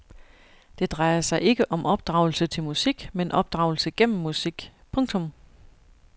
Det drejer sig ikke om opdragelse til musik men opdragelse gennem musik. punktum